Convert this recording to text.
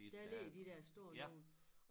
Der ligger de der store nogle